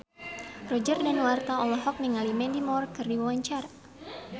Roger Danuarta olohok ningali Mandy Moore keur diwawancara